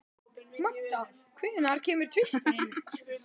Magda, hvenær kemur tvisturinn?